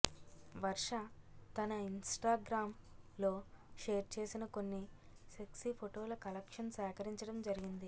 వర్ష తన ఇంస్టాగ్రామ్ లో షేర్ చేసిన కొన్ని సెక్సీ ఫోటోల కలెక్షన్ సేకరించడం జరిగింది